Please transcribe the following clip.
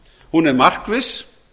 hún er markviss